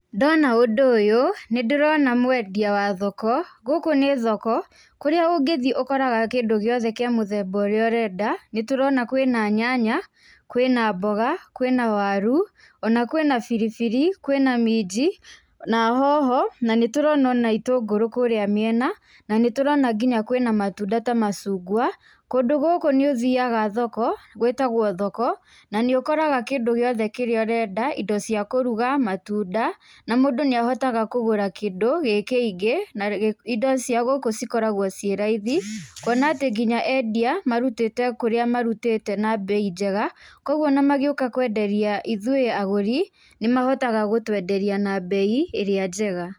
Ndona ũndũ ũyũ, nĩndĩrona mwendia wa thoko. Gũkũ nĩ thoko, kũrĩa ũngĩthiĩ ũkoraga kĩndũ gĩothe kĩa mũthemba ũrĩa ũrenda. Nĩtũrona kwĩ na nyanya, kwĩ na mboga, kwĩ na waru, ona kwĩ na biribiri, kwĩ na minji, na hoho, na nĩtũrona ona itũngũrũ kũrĩa mĩena, na nĩtũrona nginya kwĩna matunda ta macungwa. Kũndũ gũkũ nĩũthiaga thoko, gwĩtagwo thoko, na nĩũkoraga kĩndũ gĩothe kĩrĩa ũrenda; indo cia kũruga, matunda, na mũndũ nĩahotaga kũgũra kĩndũ gĩ kĩingĩ na indo cia gũkũ cikoragwo ciĩ raithi. Kwona nginya atĩ endia marutĩte kũrĩa marutĩte na mbei njega, koguo ona magĩũka kwenderia ithuĩ agũri, nĩmahotaga gũtwenderia na mbei ĩrĩa njega.